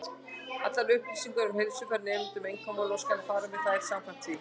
Allar upplýsingar um heilsufar nemenda eru einkamál, og skal fara með þær samkvæmt því.